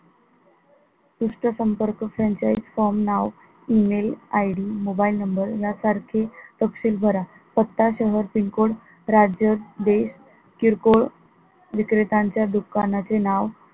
पृष्ठ संपर्क franchise form नाव, email ID mobile number या सारखे तपशील भरा, पत्ता सह PIN code राज्य देश किरकोळ विक्रेत्यांच्या दुकानाचे नाव